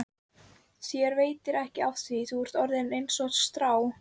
Þér veitir ekki af því, þú ert orðinn einsog strá.